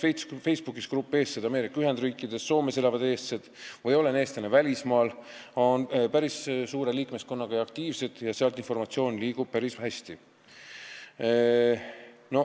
Näiteks on Facebooki grupid "Eestlased Ameerika Ühendriikides", "Soomes elavad eestlased" või "Olen eestlane välismaal" päris suure liikmeskonnaga ja aktiivsed, seal liigub informatsioon päris hästi.